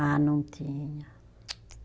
Ah, não tinha. Tsc